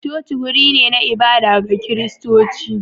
coci wuri ne na ibada ga Kiristoci.